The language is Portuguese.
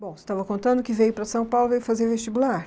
Bom, você estava contando que veio para São Paulo veio fazer vestibular.